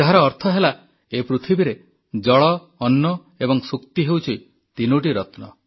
ଯାହାର ଅର୍ଥ ହେଲା ଏ ପୃଥିବୀରେ ଜଳ ଅନ୍ନ ଏବଂ ସୂକ୍ତି ହେଉଛି ତିନୋଟି ରତ୍ନ